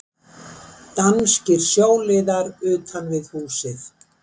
Danskir sjóliðar utan við húsið.